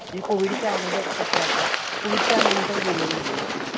covid च्या आगोदर सतरा आठरा. covid च्या नंतर गेलेली नाही मी पुण्यात.